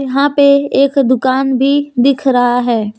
यहां पे एक दुकान भी दिख रहा है।